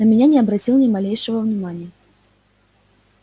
на меня не обратил ни малейшего внимания